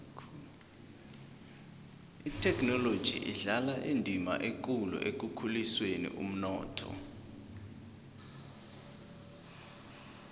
ithekhinoloji idlala indima ekulu ekukhuliseni umnotho